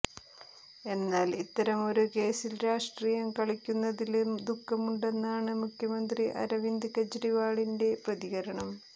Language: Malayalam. എന്നാൽ ഇത്തരമൊരു കേസിൽ രാഷ്ട്രീയം കളിക്കുന്നതില് ദുഖമുണ്ടെന്നാണ് മുഖ്യമന്ത്രി അരവിന്ദ് കെജ്രിവാളിന്റെ പ്രതികരണം